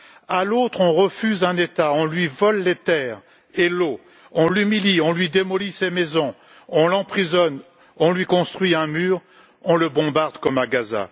À l'autre, on refuse un État, on lui vole les terres et l'eau, on l'humilie, on lui démolit ses maisons, on l'emprisonne, on lui construit un mur, on le bombarde comme à Gaza.